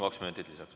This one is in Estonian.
Kaks minutit lisaks.